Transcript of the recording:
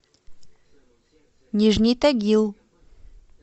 нижний тагил